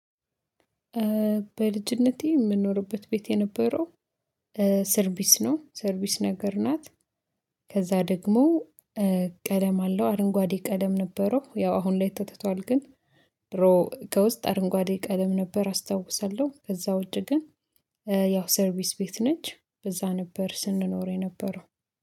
በልጅነቴ የምንኖርበት ቤት የነበረው ሰርቪስ ነው ሰርቪስ ነገር ናት። ከዛ ደግሞ ቀለም አለው አረንጓዴ ቀለም ነበረው ያው አሁን ላይ ተተቷል ግን ብሮ ከውስጥ አረንጓዴ ቀለም ነበር አስታውሳለሁ። ከዛ ውጪ ግን ያው ሰርቪስ ቤት ነች። በዛ ነበር ስንኖር የነበረው